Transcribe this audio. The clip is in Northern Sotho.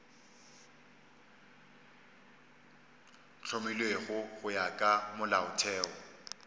hlomilwego go ya ka molaotheo